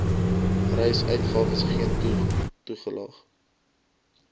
reisuitgawes geen toelaag